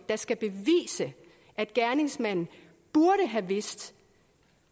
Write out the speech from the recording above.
der skal bevise at gerningsmanden burde have vidst